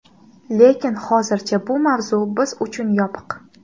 Lekin hozircha bu mavzu biz uchun yopiq.